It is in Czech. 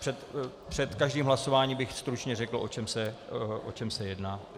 Před každým hlasováním bych stručně řekl, o čem se jedná.